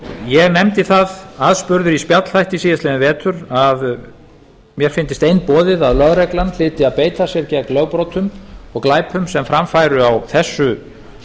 ég nefndi það aðspurður í spjallþætti síðastliðinn vetur að mér fyndist einboðið að lögreglan hlyti að beita sér gegn lögbrotum og glæpum sem fram færu á þessu